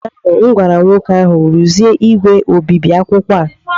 ụnyahụ m gwara nwoke ahụ, rụzie igwe obibi akwụkwọ a!